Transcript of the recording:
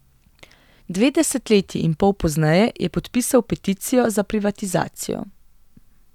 Dve desetletji in pol pozneje je podpisal peticijo za privatizacijo.